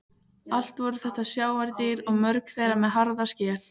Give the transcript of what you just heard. Allt voru þetta sjávardýr og mörg þeirra með harða skel.